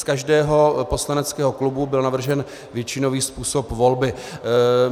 Z každého poslaneckého klubu byl navržen většinový způsob volby.